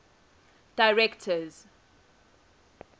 directors